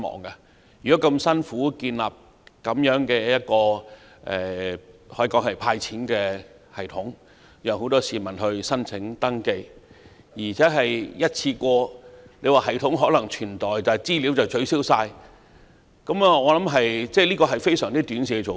政府為"派錢"而辛苦建立一套系統，讓很多市民提出申請和登記，但其後即使系統可以保存，但全部資料都必須取消，我覺得這是非常短視的做法。